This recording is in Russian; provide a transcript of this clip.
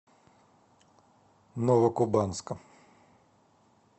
новокубанска